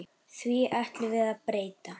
Því ætlum við að breyta.